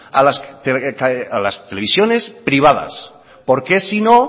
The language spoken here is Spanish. a las televisiones privadas por qué si no